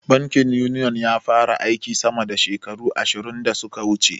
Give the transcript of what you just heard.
Bankin Uniyon ya fara aiki sama da shekaru ashirin da suka wuce.